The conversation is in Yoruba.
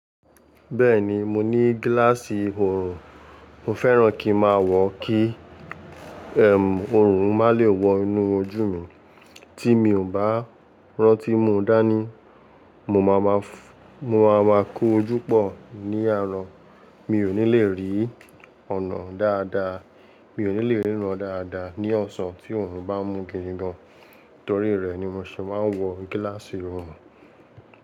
Bẹ́ẹ̀ni, mo ní gíláàsì oorun. Mo fẹ́ràn kí máa wọ kí, oorun má lè wọ inú ojú mi. Tí mi ò bá rántí mú dání, mo máa ma fú, mo máa ma kó ojú pọ̀ ní àárọ̀. Mi ò ní le rí ọ̀nà dáadáa, mi ò ní le ríran dáadáa ní ọ̀sán tí oorun bá mú gidi gan. Torí rẹ̀ ni mo ṣé máa ń wọ gíláàsì oorun.